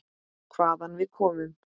Hvaðan við komum.